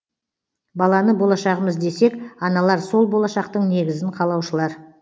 баланы болашағымыз десек аналар сол болашақтың негізін қалаушылар